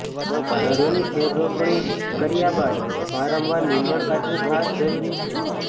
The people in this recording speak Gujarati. ધરુંની ફેરરોપણી કર્યા બાદ વારંવાર નીંદણ કાઢવું ખાસ જરૂરી છે